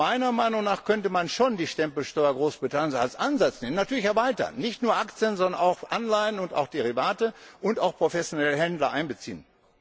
Meiner Meinung nach könnte man schon die Stempelsteuer Großbritanniens als Ansatz nehmen, natürlich erweitern und nicht nur Aktien, sondern auch Anleihen und auch Derivate und professionelle Händler einbeziehen.